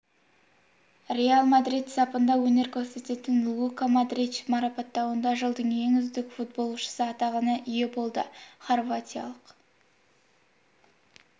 реал мадрид сапында өнер көрсететін лука модрич марапаттауында жылдың ең үздік футболшысы атағына ие болды хорватиялық